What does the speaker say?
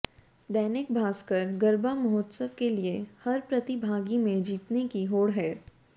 दैनिक भास्कर गरबा महोत्सव के लिए हर प्रतिभागी में जीतने की होड़ है